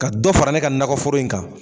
Ka dɔ fara ne ka nakɔ foro in kan.